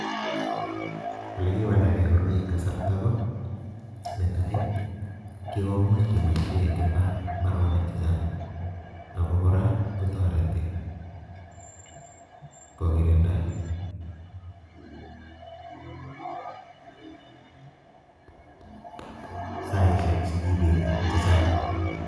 Olekiwaldagee koroi en kasartaa ko netai kikomuch keboishien eng imbar, imbaroniik chechang ak kora kotoretii kokirinda saisiek chekibetii chechang